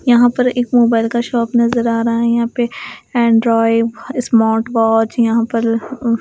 यहाँ पर एक मोबाइल का शॉप नजर आ रहा है यहाँ पे इंड्राइड फ स्मार्ट वाच यहाँ पर लह अ --